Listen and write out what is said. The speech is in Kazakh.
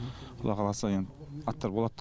құдай қаласа енді аттар болады